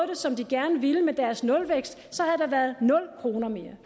det som de gerne ville med deres nulvækst så havde der været nul kroner mere det